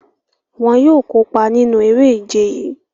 Wọn yóò kopa ninu ere-ije yii.